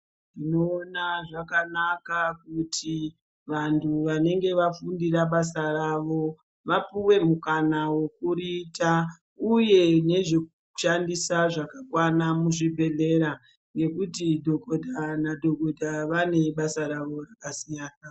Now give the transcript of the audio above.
Ndinoona zvakanaka kuti vantu vanenge vafundira basa ravo vapuwe mukana wokuriita uye nezvekushandisa zvakakwana muzvibhedhleya nekuti dhokodheya nadhokodheya vane basa ravo rakasiyana.